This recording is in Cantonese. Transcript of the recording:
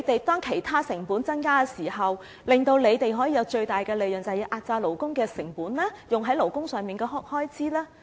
當其他成本增加時，為了讓他們賺取最大利潤，他們是否要壓榨勞工成本，壓低花在勞工上的開支呢？